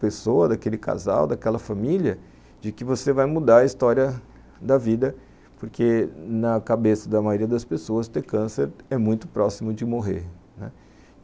pessoa, daquele casal, daquela família, de que você vai mudar a história da vida, porque na cabeça da maioria das pessoas ter câncer é muito próximo de morrer, né.